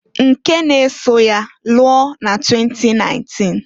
Nke n'eso ya lụọ na 2019.